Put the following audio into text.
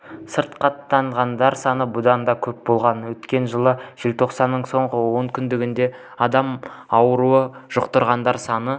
сырқаттанғандар саны бұдан да көп болған өткен жылы желтоқсанның соңғы онкүндігінде адам ауырды жұқтырғандар саны